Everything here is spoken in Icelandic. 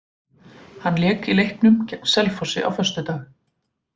Hann lék í leiknum gegn Selfossi á föstudag.